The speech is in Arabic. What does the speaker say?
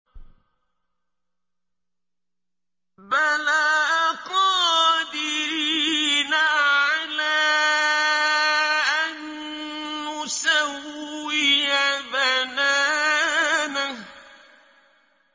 بَلَىٰ قَادِرِينَ عَلَىٰ أَن نُّسَوِّيَ بَنَانَهُ